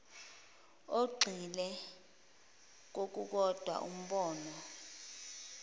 ogxile kokukodwa umbono